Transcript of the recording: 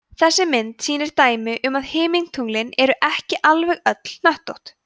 þessi mynd sýnir dæmi um að himintunglin eru ekki alveg öll hnöttótt